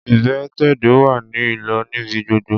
Ìpẹ̀tẹ̀do wá ní ìlò níbi gbogbo.